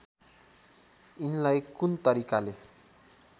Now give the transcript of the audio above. यिनलाई कुन तरिकाले